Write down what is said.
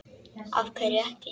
Af hverju ekki?